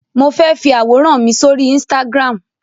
Mo fẹ́ fi àwòrán mi sóri Instagram.